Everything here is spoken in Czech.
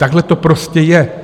Takhle to prostě je.